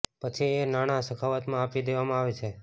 પછી એ નાણાં સખાવતમાં આપી દેવામાં આવે છે